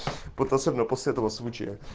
вот особенно после этого случая